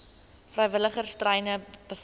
vrywilligers treine beveilig